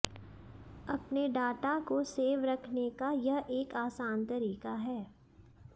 अपने डाटा को सेव रखने का यह एक आसान तरीका है